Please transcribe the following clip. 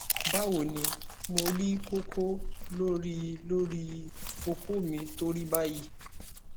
bawoni mo ri koko lori lori oko mi to ri bayi